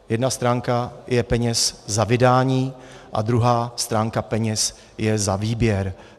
Jedna stránka jsou peníze za vydání a druhá stránka peněz je za výběr.